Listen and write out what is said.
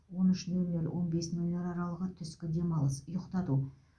он үш нөл нөл он бес нөл нөл аралығы түскі демалыс ұйықтату